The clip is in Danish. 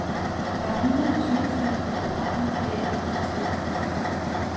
Der er hundrede og tyve film på programmet i den uge, festivalen varer.